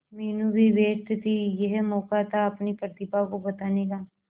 मीनू भी व्यस्त थी यह मौका था अपनी प्रतिभा को बताने का